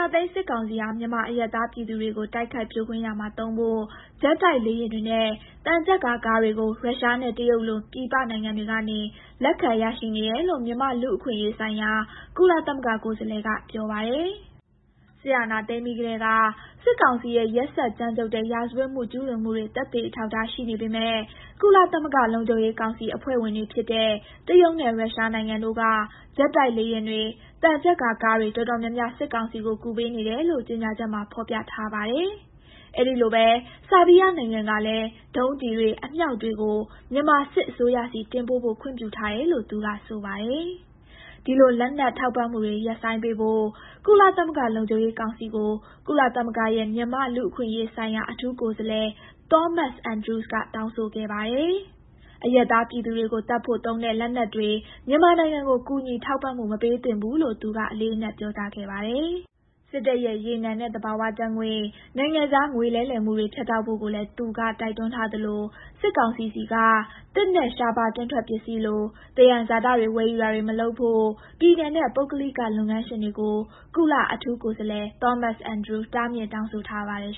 ာသိမ်း စစ်ကောင်စီဟာ မြန်မာအရပ်သားပြည်သူတွေကို တိုက်ခိုက်ဖြိုခွင်းရာမှာသုံးဖို့ ဂျက်တိုက်လေယာဉ်တွေနဲ့ သံချပ်ကာကားတွေကို ရုရှားနဲ့တရုတ်လို ပြည်ပနိုင်ငံတွေကနေ လက်ခံရရှိနေတယ်လို့ မြန်မာ့လူ့အခွင့်အရေးဆိုင်ရာ ကုလအထူးကိုယ်စားလှယ်က ပြောပါတယ်။ "စစ်အာဏာသိမ်းပြီးကတည်းက စစ်ကောင်စီရဲ့ ရက်စက်ကြမ်းကြုတ်တဲ့ ရာဇဝတ်မှုကျူးလွန်တာတွေ သက်သေအထောက်အထား ရှိနေပေမယ့် ကုလသမဂ္ဂ လုံခြုံရေးကောင်စီအဖွဲ့ဝင်တွေဖြစ်တဲ့ တရုတ်နဲ့ ရုရှးနိုင်ငံတို့က ဂျက်တိုက်လေယာဉ်တွေ၊ သံချပ်ကာကားတွေ တော်တော်များများ စစ်ကောင်စီကို ကူပေးနေတယ်" လို့ ကြေညာချက်မှာ ဖော်ပြထားပါတယ်။ "အဲဒီလိုပဲ ဆားဘီးယားနိုင်ငံကလဲ ဒုံးကျည်တွေ အမြောက်တွေကို မြန်မာစစ်အစိုးရဆီ တင်ပို့ဖို့ ခွင့်ပြုထားတယ်"လို့ သူက ဆိုပါတယ်။ ဒီလို လက်နက်ထောက်ပံ့မှုတွေကို ရပ်ဆိုင်းပေးဖို့ ကုလသမဂ္ဂလုံခြုံရေးကောင်စီကို ကုလသမဂ္ဂရဲ့ မြန်မာ့ လူ့အခွင့် အရေး ဆိုင်ရာ အထူးကိုယ်စားလှယ် Thomas Andrews က တောင်းဆိုခဲ့ပါတယ်။ "အရပ်သားပြည်သူတွေကိုသတ်ဖို့ သုံးတဲ့လက်နက်တွေ မြန်မာနိုင်ငံကို ကူညီ ထောက်ပံ့မှု မပေးသင့်ဘူး" လို့ သူက အလေးအနက်ပြောကြားခဲ့ပါတယ်။ စစ်တပ်ရဲ့ ရေနံနဲ့ သဘာဝ ဓာတ်ငွေ့၊ နိုင်ငံခြားငွေလဲလှယ်မှုတွေ ဖြတ်တောက်ဖို့ကိုလဲ သူက တိုက်တွန်းထားသလို စစ်ကောင်စီဆီက သစ်နဲ့ ရှားပါးတွင်းထွက်ပစ္စည်းလို သယံဇာတတွေ ဝယ်ယူတာတွေ မလုပ်ဖို့ ပြည်နယ်နဲ့ ပုဂ္ဂလိက လုပ်ငန်းရှင်တွေကို ကုလအထူးကိုယ်စားလှယ် Thomas Andrews တားမြစ် တောင်းဆိုထားပါတယ်